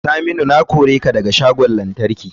Saminu na kore ka daga shagon lantarki.